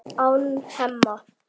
án Hemma.